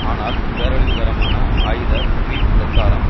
ஆனால் பேரழிவுகரமான ஆயுத பொய் பிரச்சாரம்